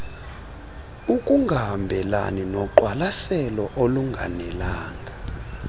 ukungahambelani noqwalaselo olunganelanga